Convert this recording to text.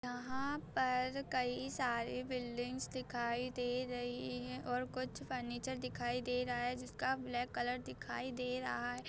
यहाॅं पर कई सारे बिल्डिंग्स दिखाई दे रही है और कुछ फर्नीचर दिखाई दे रहा है जिसका ब्लैक कलर दिखाई दे रहा है।